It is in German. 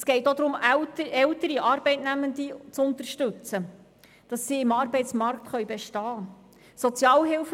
Es geht auch darum, ältere Arbeitnehmende zu unterstützen, damit sie im Arbeitsmarkt bestehen können.